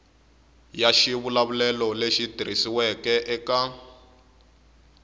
ya xivulavulelo lexi tikisiweke eka